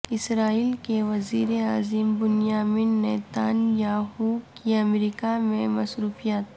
اسرائیل کے وزیر اعظم بنیامین نیتان یاہو کی امریکہ میں مصروفیات